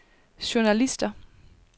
journalister